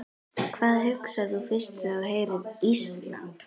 Hvað hugsar þú fyrst þegar þú heyrir Ísland?